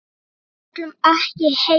Við ætlum ekki heim!